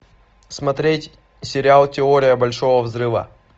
смотреть сериал теория большого взрыва